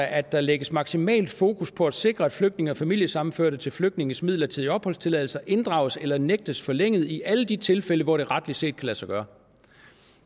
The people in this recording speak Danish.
at der lægges maksimalt fokus på at sikre at flygtninge og familiesammenførte til flygtninges midlertidige opholdstilladelser inddrages eller nægtes forlænget i alle de tilfælde hvor det retligt set kan lade sig gøre